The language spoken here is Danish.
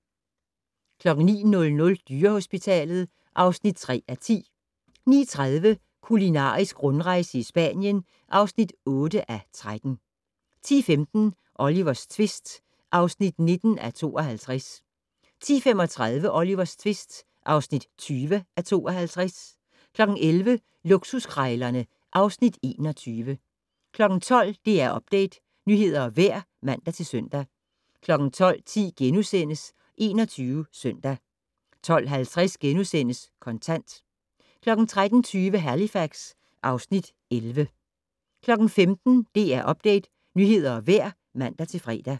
09:00: Dyrehospitalet (3:10) 09:30: Kulinarisk rundrejse i Spanien (8:13) 10:15: Olivers tvist (19:52) 10:35: Olivers tvist (20:52) 11:00: Luksuskrejlerne (Afs. 21) 12:00: DR Update - nyheder og vejr (man-søn) 12:10: 21 Søndag * 12:50: Kontant * 13:20: Halifax (Afs. 11) 15:00: DR Update - nyheder og vejr (man-fre)